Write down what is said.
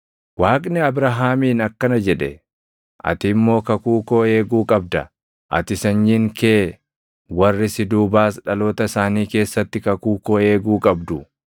Waaqni Abrahaamiin akkana jedhe; “Ati immoo kakuu koo eeguu qabda; ati, sanyiin kee warri si duubaas dhaloota isaanii keessatti kakuu koo eeguu qabdu.